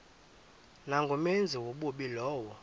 nangumenzi wobubi lowo